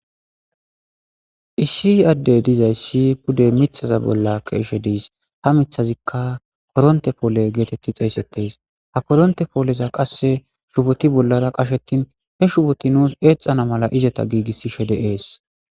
issi adde dizayssi pude mithaza bolla keeshe diis ha mithazikka koronte poole geetetti xeeysetes ha kodonte pooleza qasse shuboti bollara qashetin he shuboti nuus eexana mala izeta giigissishe de7ees